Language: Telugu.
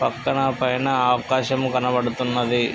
పక్కన పైన ఆకాశం కనబడుతున్నది.